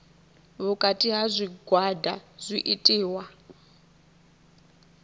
vhukati ha zwigwada zwi itiwa